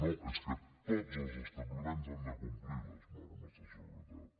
no és que tots els establiments han de complir les normes de seguretat